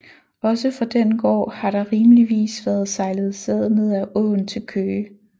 Ogsaa fra den Gaard har der rimeligvis været sejlet Sæd ned ad Aaen til Køge